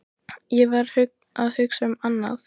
Ég var að hugsa um annað.